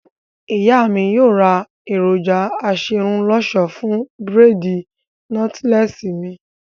Ìyá mi yóò ra èròjà aserun lọṣọ fún bírèèdì nọ́tílẹ́ẹ̀sì mi